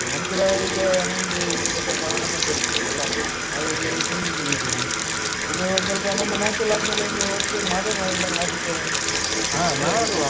ನಾನ್ ಕೂಡ ಈಗ ನಂಗೆ ಈಗ ಸ್ವಲ್ಪ ಹಣ ಸಂಪಾದಿಸ್ಬೇಕಲ್ಲಾ ಹಾಗಾಗಿ singing ಅಲ್ಲ್ ಇದ್ದೇನೆ. ಇದು ಸ್ವಲ್ಪ ನಮ್ಮ match ಎಲ್ಲ ಆದ್ಮೇಲೆ ಒಂದು ಒಟ್ಟು ಸೇರಿ ಮಾಡೋಣ್ವ ಎಲ್ಲ artist ಏನಾದ್ರು ಇದ್ರೆ ಎಲ್ಲರು.